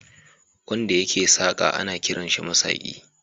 Wanda yake saƙa ana kiransa masaƙi.